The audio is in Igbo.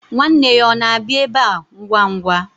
Nwanne ya ọ na-abịa ebe a ngwa ngwa?